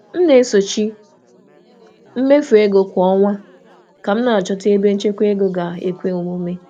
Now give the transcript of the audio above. M na-enyocha mmefu kwa ọnwa iji ọnwa iji chọpụta ebe enwere ike ịchekwa ego.